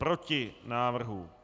Proti návrhu.